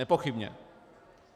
Nepochybně.